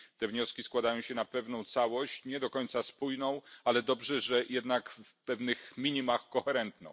Te wnioski składają się na pewną całość, nie do końca spójną, ale dobrze, że jednak w pewnych minimach koherentną.